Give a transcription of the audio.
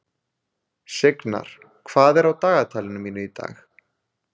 Signar, hvað er á dagatalinu mínu í dag?